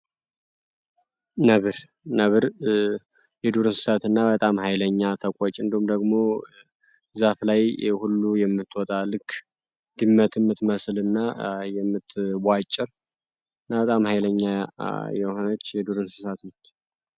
ነብር ነብር የዱር እንሰሳትና በጣም ሃይለኛ ተቆጪ እንዲሁም ደግሞ ዛፍ ላይ ሁሉም የምትወጣ ልክ ድመት የምትመስልና የምትቧጭር እና በጣም ሃይለኛ የሆነች የዱር እንስሳት ነች ።